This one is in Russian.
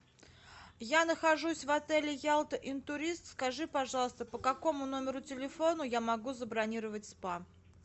я нахожусь в отеле ялта интурист скажи пожалуйста по какому номеру телефона я могу забронировать спа